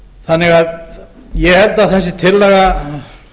þannig að ég held að þessi tillaga